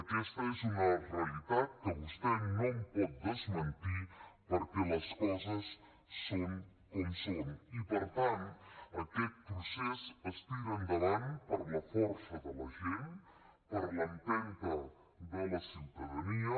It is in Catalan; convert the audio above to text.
aquesta és una realitat que vostè no em pot desmentir perquè les coses són com són i per tant aquest procés es tira endavant per la força de la gent per l’empenta de la ciutadania